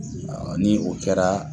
Ni o kɛra